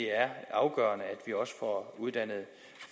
er afgørende at vi også får uddannet